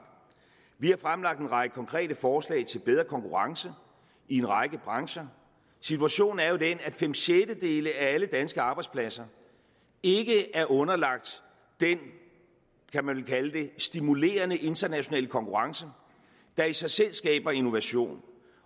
vi har fremlagt en række konkrete forslag til bedre konkurrence i en række brancher situationen er jo den at fem sjettedele af alle danske arbejdspladser ikke er underlagt den kan man vel kalde det stimulerende internationale konkurrence der i sig selv skaber innovation